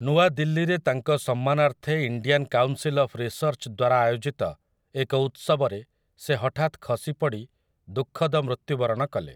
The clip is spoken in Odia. ନୂଆ ଦିଲ୍ଲୀରେ ତାଙ୍କ ସମ୍ମାନାର୍ଥେ ଇଣ୍ଡିଆନ୍ କାଉନ୍ସିଲ୍ ଅଫ୍ ରିସର୍ଚ୍ଚଦ୍ୱାରା ଆଯୋଜିତ ଏକ ଉତ୍ସବରେ ସେ ହଠାତ ଖସି ପଡ଼ି ଦୁଃଖଦ ମୃତ୍ୟୁ ବରଣ କଲେ ।